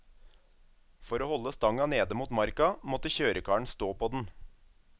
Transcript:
For å holde stanga nede mot marka, måtte kjørekaren stå på den.